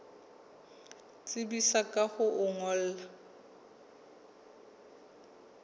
tsebisa ka ho o ngolla